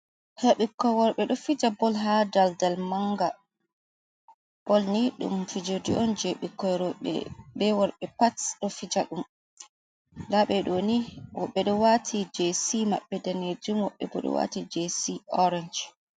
Ta ɓikkoi worɓe ɗo fija bol ha daldal manga, bol ni ɗum fijir de on je ɓikkoi roɓe be worɓe pat ɗo fija ɗum, nda ɓeɗo ni woɓɓe ɗo wati jesi maɓɓe danejum woɓɓe ɗo wati jesi orench.